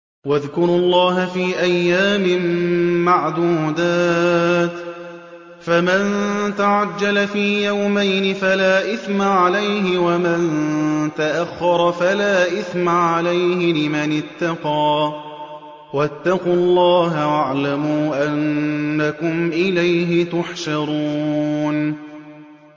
۞ وَاذْكُرُوا اللَّهَ فِي أَيَّامٍ مَّعْدُودَاتٍ ۚ فَمَن تَعَجَّلَ فِي يَوْمَيْنِ فَلَا إِثْمَ عَلَيْهِ وَمَن تَأَخَّرَ فَلَا إِثْمَ عَلَيْهِ ۚ لِمَنِ اتَّقَىٰ ۗ وَاتَّقُوا اللَّهَ وَاعْلَمُوا أَنَّكُمْ إِلَيْهِ تُحْشَرُونَ